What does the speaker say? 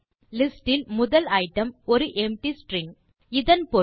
list இல் முதல் item ஒரு எம்ப்டி ஸ்ட்ரிங் இதன் பொருள்